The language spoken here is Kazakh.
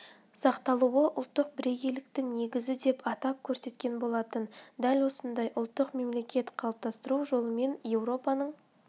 сақталуы ұлттық бірегейліктің негізі деп атап көрсеткен болатын дәл осындай ұлттық мемлекет қалыптастыру жолымен еуропаның